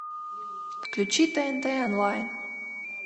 включи тнт онлайн